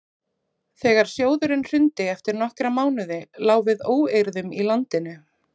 þegar sjóðurinn hrundi eftir nokkra mánuði lá við óeirðum í landinu